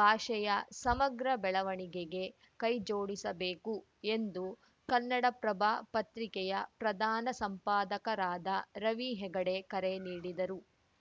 ಭಾಷೆಯ ಸಮಗ್ರ ಬೆಳವಣಿಗೆಗೆ ಕೈಜೋಡಿಸಬೇಕು ಎಂದು ಕನ್ನಡ ಪ್ರಭ ಪತ್ರಿಕೆಯ ಪ್ರಧಾನ ಸಂಪಾದಕರಾದ ರವಿ ಹೆಗಡೆ ಕರೆ ನೀಡಿದರು